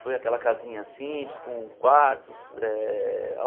Foi aquela casinha simples, com quartos eh.